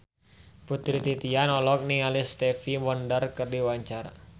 Putri Titian olohok ningali Stevie Wonder keur diwawancara